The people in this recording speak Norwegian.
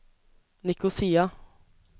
Nikosia